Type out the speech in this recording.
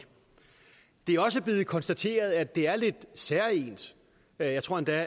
det er også blevet konstateret at det er lidt særegent jeg tror endda